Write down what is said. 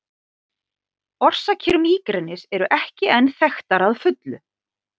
Orsakir mígrenis eru ekki enn þekktar að fullu.